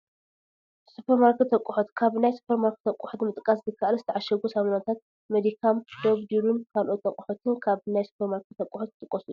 ሱፐርማርኬት ኣቑሑ፡- ካብ ናይ ሱፐርመርኬት ኣቑሑት ንምጥቃስ ዝኣክል፣ ዝተዓሸጉ ሳሙናታት፡- መዲከም፣ ዶብ፣ ዱሩን ካልኦት ኣቑሑትን ካብ ናይ ሱፐርማርኬት ኣቑሑት ዝጥቁሱ እዮም፡፡